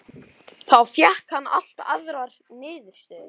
Þá fékk hann allt aðrar niðurstöður.